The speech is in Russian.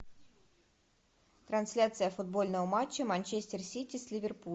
трансляция футбольного матча манчестер сити с ливерпулем